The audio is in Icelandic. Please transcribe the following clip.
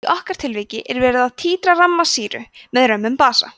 í okkar tilviki er verið að títra ramma sýru með römmum basa